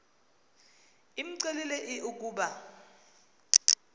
imcelile l ukuba